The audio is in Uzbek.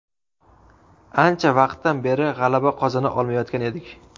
Ancha vaqtdan beri g‘alaba qozona olmayotgan edik.